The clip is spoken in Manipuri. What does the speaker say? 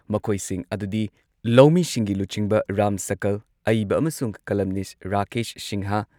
ꯃꯈꯣꯏꯁꯤꯡ ꯑꯗꯨꯗꯤ ꯂꯧꯃꯤꯁꯤꯡꯒꯤ ꯂꯨꯆꯤꯡꯕ ꯔꯥꯝ ꯁꯀꯜ, ꯑꯏꯕ ꯑꯃꯁꯨꯡ ꯀꯂꯝꯅꯤꯁꯠ ꯔꯥꯀꯦꯁ ꯁꯤꯟꯍꯥ,